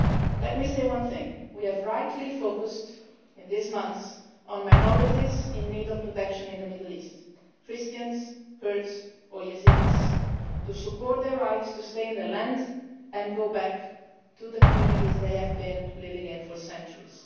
Let me say one thing we have rightly focused in recent months on minorities in need of protection in the Middle East Christians, Kurds or Yazidis supporting their right to stay on the land, and go back to the communities, where they have been living for centuries.